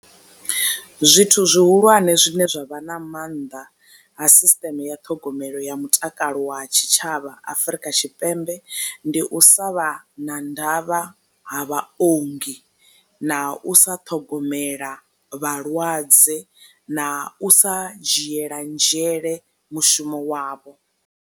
Zwithu zwihulwane zwine zwa vha na mannḓa ha sisiṱeme ya ṱhogomelo ya mutakalo wa tshi tshavha Afrika Tshipembe ndi u sa vha na nḓala havha ha vhaongi, na u sa ṱhogomela vhalwadze na u sa dzhiela nzhele mushumo wavho.